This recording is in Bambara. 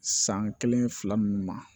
San kelen fila nunnu ma